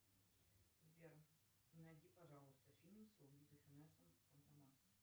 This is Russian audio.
сбер найди пожалуйста фильм с луи де финесом фантомас